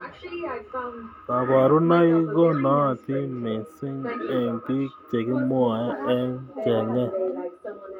kabarunoik ko nootin missning eng bik chekimwa eng chnget.